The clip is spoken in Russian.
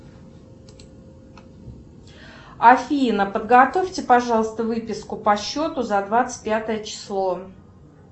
афина подготовьте пожалуйста выписку по счету за двадцать пятое число